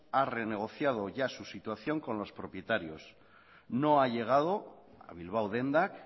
ha renegociado ya su situación con los propietarios no ha llegado a bilbao dendak